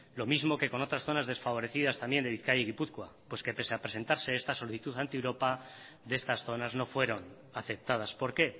lo mismo que con otras zonas desfavorecidas también de bizkaia y de gipuzkoa que pese a presentarse esta solicitud ante europa de estas zonas no fueron aceptadas por qué